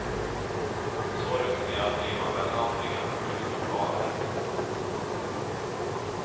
Så rutinerad blir man väl aldrig att man slutar att vara det.